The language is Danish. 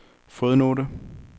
fodnote